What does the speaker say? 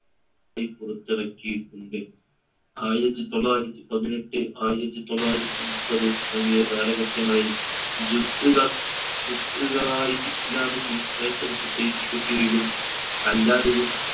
യി പുറത്ത് ഇറക്കിയിട്ടുണ്ട് ആയിരത്തി തൊള്ളായിരത്തി പതിനെട്ട് ആയിരത്തി തൊള്ളായിരത്തി മുപ്പത്ത് തുടങ്ങിയ കാലഘട്ടങ്ങളിൽ ജുസ്ഉകളായി islamic literature society ക്ക് കീഴിലും അല്ലാതെയും